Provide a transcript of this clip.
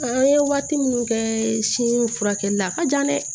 An ye waati minnu kɛ si furakɛli la a ka jan dɛ